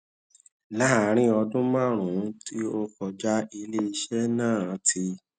láàárín ọdún márùnún tí ó kọjá ilé iṣẹ náà ti